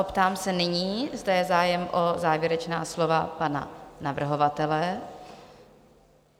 Optám se nyní, zda je zájem o závěrečná slova pana navrhovatele?